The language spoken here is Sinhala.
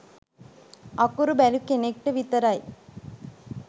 අකුරු බැරි කෙනෙක්ට විතරයි